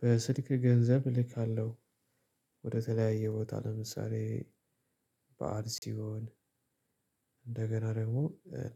በስልክ ገንዘብ እልካለሁ። ወደተለያየ ቦታ ለምሳሌ በዓል ሲሆን እንደገና ደግሞ